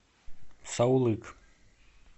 саулык